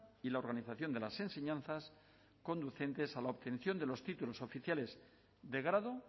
y la organización de las enseñanzas conducentes a la obtención de los títulos oficiales de grado